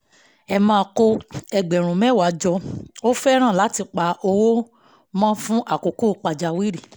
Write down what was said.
emma kó ẹgbẹ̀rún mẹ́wàá jọ ó fẹ́ràn láti pa owó mọ́ fún àkókò pàjáwìrì